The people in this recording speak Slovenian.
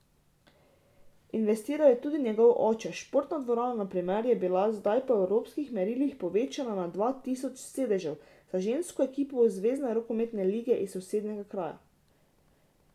Investiral je tudi njegov oče, športna dvorana, na primer, je bila zdaj po evropskih merilih povečana na dva tisoč sedežev, za žensko ekipo zvezne rokometne lige iz sosednjega kraja.